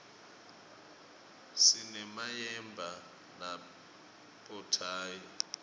sinemayemba nabothayi